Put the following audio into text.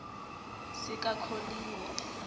sikakholiwe